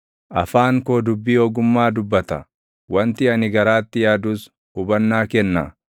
Afaan koo dubbii ogummaa dubbata; wanti ani garaatti yaadus hubannaa kenna.